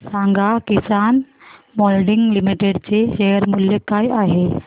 सांगा Kisan moulding limited चे share मूल्य काय आहे